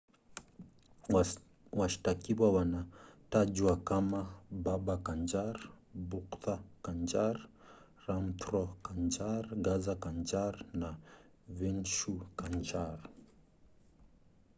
washtakiwa wanatajwa kamababa kanjar bhutha kanjar rampro kanjar gaza kanjar na vishnu kanjar